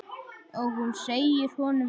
Og hún segir honum það.